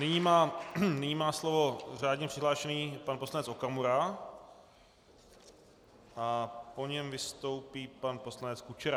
Nyní má slovo řádně přihlášený pan poslanec Okamura a po něm vystoupí pan poslanec Kučera.